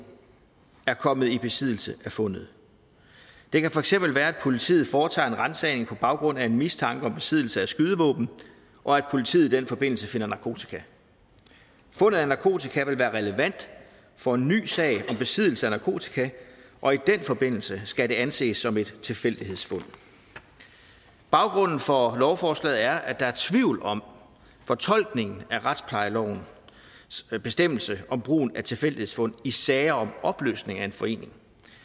er kommet i besiddelse af fundet det kan for eksempel være at politiet foretager en ransagning på baggrund af en mistanke om besiddelse af skydevåben og at politiet i den forbindelse finder narkotika fundet af narkotika vil være relevant for en ny sag om besiddelse af narkotika og i den forbindelse skal det anses som et tilfældighedsfund baggrunden for lovforslaget er at der er tvivl om fortolkningen af retsplejelovens bestemmelse om brugen af tilfældighedsfund i sager om opløsning af en forening